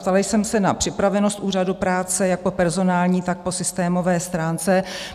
Ptala jsem se na připravenost Úřadu práce jak po personální, tak po systémové stránce.